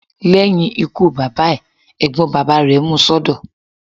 Lẹ́yìn ikú bàbá ẹ̀, Ẹ̀gbọ́n bàbá rẹ̀ mú un sọ́dọ̀.